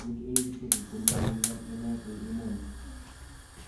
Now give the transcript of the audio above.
"Ng'etu Eliud Kipchoge ko ne nyigan ne naat en emoni"